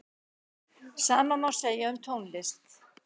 Sama má segja um tónlist.